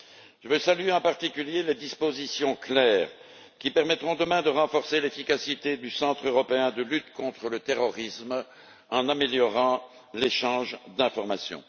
Je voudrais saluer, en particulier, les dispositions claires qui permettront de renforcer l'efficacité du Centre européen de la lutte contre le terrorisme, en améliorant l'échange d'informations.